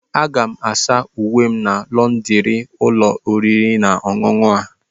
Aga m asa uwe m na lọndrị ụlọ oriri na ọṅụṅụ a.